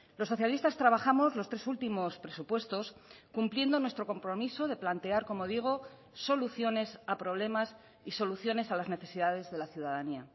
los socialistas trabajamos los tres últimos presupuestos cumpliendo nuestro compromiso de plantear como digo soluciones a problemas y soluciones a las necesidades de la ciudadanía